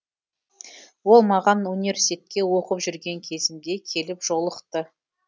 ол маған университетте оқып жүрген кезімде келіп жолықты